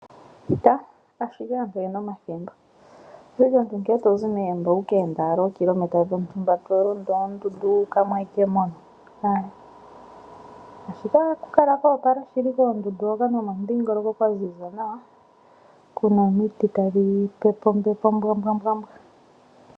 Taa ashike aantu oyena omathimbo oshili omuntu nkene tozi megumbo owu kende ookilometa dhontumba to londo oondundu wuukamo aike mono, ashike ohaku kala kwoopala shili koondundu hono nomo mudhingoloko kwa ziza nawa kuna omiti tadhi pepe ombepo ombwaanawa.